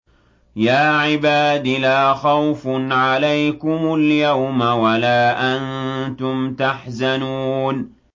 يَا عِبَادِ لَا خَوْفٌ عَلَيْكُمُ الْيَوْمَ وَلَا أَنتُمْ تَحْزَنُونَ